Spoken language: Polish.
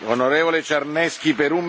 Panie Przewodniczący Parlamentu!